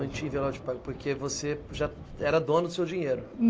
Não, não tinha envelope de pagamento, porque você já era dono do seu dinheiro.